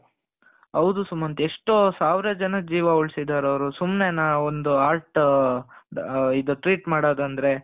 ಹೌದು ಸುಮಂತ್ ಎಷ್ಟು ಸಾವಿರ ಜನದ ಜೀವ ಉಳಿಸಿದ್ದಾರೆ ಅವರು ಸುಮ್ನೆ ನಾ ಒಂದು heart ಇದು treat ಮಾಡೋದು ಅಂದ್ರೆ.